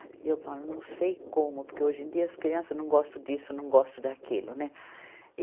E eu falo, não sei como, porque hoje em dia as crianças não gostam disso, não gostam daquilo, né?